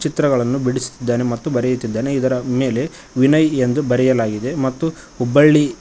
ಚಿತ್ರಗಳನ್ನು ಬಿಡಿಸುತ್ತಿದ್ದಾನೆ ಮತ್ತು ಬರೆಯುತ್ತಿದ್ದಾನೆ ಇದರ ಮೇಲೆ ವಿನಯ್ ಎಂದು ಬರೆಯಲಾಗಿದೆ ಮತ್ತು ಹುಬ್ಬಳ್ಳಿ--